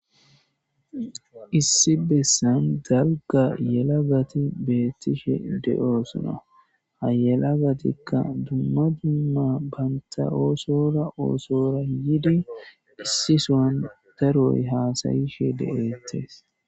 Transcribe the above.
Issi bessan dalga yelagati beettishe de'oosuna hayelagatikka dumma dumma banta oosora oosora yidi issisoan daroy haasayishe de'eettes.